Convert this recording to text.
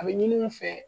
A bɛ ɲini u fɛ